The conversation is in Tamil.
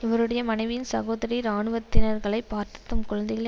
இவருடைய மனைவியின் சகோதரி இராணுவத்தினர்களைப் பார்த் தம் குழந்தைகளை